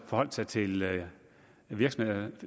forholde sig til virksomhedernes